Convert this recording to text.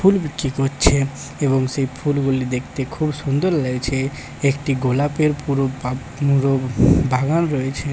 ফুল বিক্রি করছে এবং সেই ফুলগুলি দেখতে খুব সুন্দর লাগছে একটি গোলাপের পুরো বা পুরো বাগান রয়েছে।